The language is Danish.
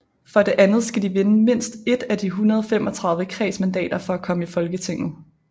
For det andet skal de vinde mindst ét af de 135 kredsmandater for at komme i Folketinget